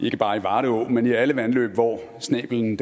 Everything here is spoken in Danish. ikke bare i varde å men i alle vandløb hvor snæblen